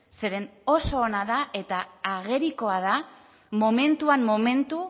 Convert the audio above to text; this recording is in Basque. zeren oso ona da eta agerikoa da momentuan momentu